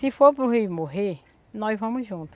Se for para o rio morrer, nós vamos junto.